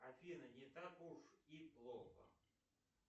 афина не так уж и плохо